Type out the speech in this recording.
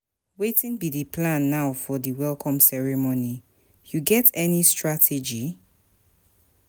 Wetin be di plan now for di welcome ceremony, you get any strategy?